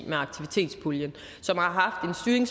med aktivitetspuljen som har haft en